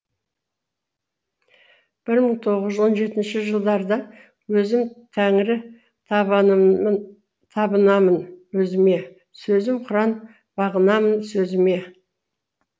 бір мың тоғыз жүз он жетінші жылдарда өзім тәңірі табынамын өзіме сөзім құран бағынамын сөзіме